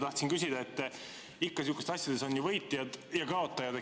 Tahtsin küsida, et ikka niisugustes asjades on võitjad ja kaotajad.